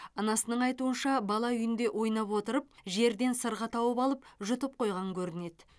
анасының айтуынша бала үйінде ойнап отырып жерден сырға тауып алып жұтып қойған көрінеді